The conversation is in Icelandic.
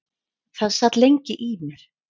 Það sat lengi í mér.